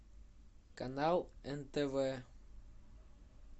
канал нтв